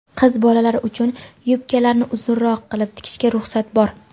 qiz bolalar uchun yubkalarni uzunroq qilib tikishga ruxsat bor.